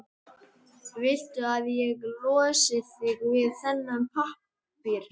Viltu að ég losi þig við þennan pappír?